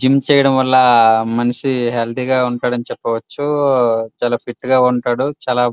Gym చేయడం వాలా మనిషి హెల్ది గా ఉంటాడు అని చెప్పవచు. చాల ఫిట్గా ఉంటాడు. చాల --